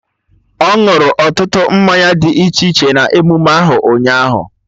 Ọ ñụrụ ọtụtụ mmanya dị iche iche na emume ahụ, ụnyaahụ